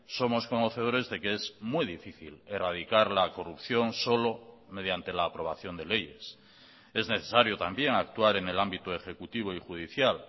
somos conocedores de que es muy difícil erradicar la corrupción solo mediante la aprobación de leyes es necesario también actuar en el ámbito ejecutivo y judicial